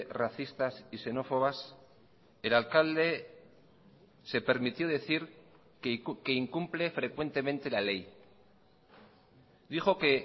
racistas y xenófobas el alcalde se permitió decir que incumple frecuentemente la ley dijo que